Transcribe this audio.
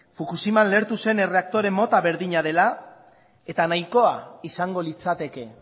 fukushiman lehertu zen erreaktore mota berdina dela eta nahikoa izango litzateke